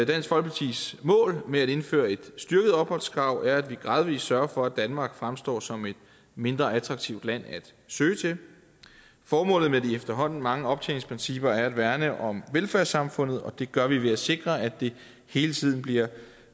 dansk folkepartis mål med at indføre et styrket opholdskrav er at vi gradvis sørger for at danmark fremstår som et mindre attraktivt land at søge til formålet med de efterhånden mange optjeningsprincipper er at værne om velfærdssamfundet og det gør vi ved at sikre at det hele tiden bliver